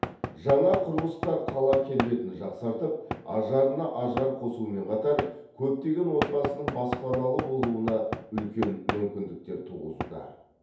жаңа құрылыстар қала келбетін жақсартып ажарына ажар қосумен қатар көптеген отбасының баспаналы болуына үлкен мүмкіндіктер туғызуда